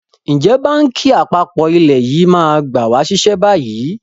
Ǹjẹ́ báńkì àpapọ̀ ilẹ̀ yìí máa gba wa ṣiṣẹ́ bayyi?